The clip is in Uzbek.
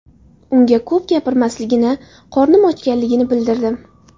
Unga ko‘p gapirmasligini, qornim ochganligini bildirdim.